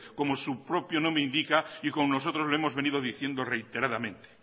como su propio nombre indica y como nosotros lo hemos venido diciendo reiteradamente